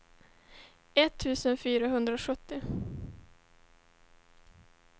etttusen fyrahundrasjuttio